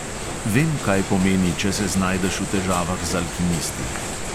Vem, kaj pomeni, če se znajdeš v težavah z alkimisti.